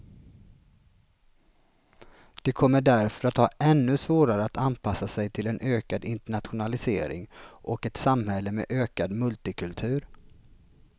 De kommer därför att ha ännu svårare att anpassa sig till en ökad internationalisering och ett samhälle med ökad multikultur.